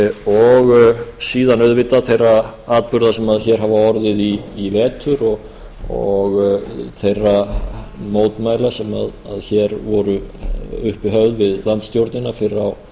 og síðan auðvitað þeirra atburða sem hér hafa orðið í vetur og þeirra mótmæla sem hér voru uppi höfð við landsstjórnina fyrr á